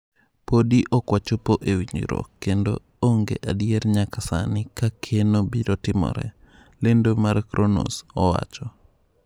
Podi ok wachopo e winjruok, kendo onge adier nyaka sani ka keno biro timore," lendo mar Cronos owacho.